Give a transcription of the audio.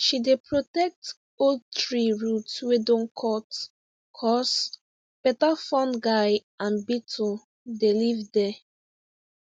she dey protect old tree root wey don cut cos better fungi and beetle dey live there